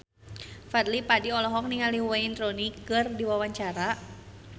Fadly Padi olohok ningali Wayne Rooney keur diwawancara